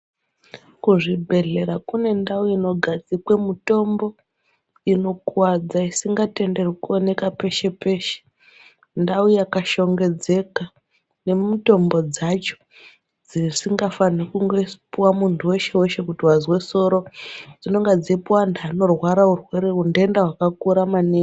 Kuzvibhedhlera kune ndau inogadzikwe mutombo inokuwadza isingatenderwi kuoneka peshe peshe ndau yakashongedzeka nemitombo dzacho dzisingafani kungopuwa muntu weshe weshe kuti wazwe soro dzinonga dzeipuwa antu anorwara urwere untenda hwakakura maningi.